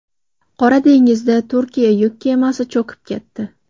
Qora dengizda Turkiya yuk kemasi cho‘kib ketdi.